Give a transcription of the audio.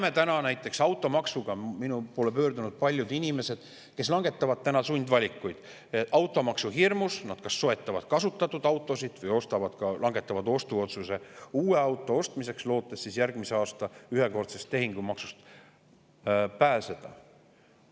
" Me näeme näiteks – minu poole on pöördunud paljud inimesed, kes langetavad sundvalikuid –, et automaksuhirmus soetatakse kasutatud autosid või langetatakse ostuotsus uue auto ostmiseks, lootes järgmisel aastal ühekordsest tehingumaksust pääseda.